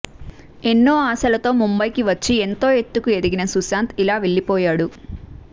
ఎన్నో ఆశలతో ముంబైకి వచ్చి ఎంతో ఎత్తుకు ఎదిగిన సుశాంత్ ఇలా వెళ్లిపోయాడు